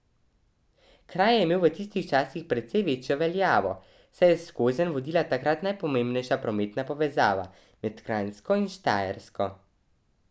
Kraj je imel v tistih časih precej večjo veljavo, saj je skozenj vodila takrat najpomembnejša prometna povezava med Kranjsko in Štajersko.